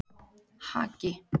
Haki